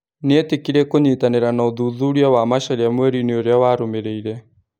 Nĩetĩkĩrire kũnyĩtanĩra na ũthuthuria wa Macharia mwerinĩ ũrĩa warũmĩrĩire.